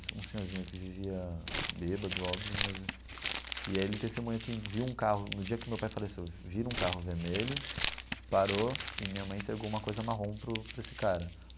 Um um senhorzinho que vivia bêbado, óbvio, mas... E aí ele testemunhou que viu um carro, no dia que meu pai faleceu, vira um carro vermelho, parou, e minha mãe entregou uma coisa marrom para o para esse cara.